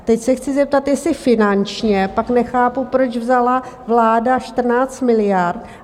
Teď se chci zeptat, jestli finančně - pak nechápu, proč vzala vláda 14 miliard.